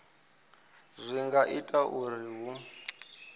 zwi nga itwa uri hu